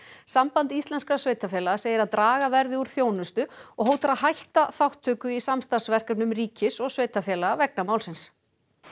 samband íslenskra sveitarfélaga segir að draga verði úr þjónustu og hótar að hætta þátttöku í samstarfsverkefnum ríkis og sveitarfélaga vegna málsins